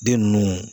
Den ninnu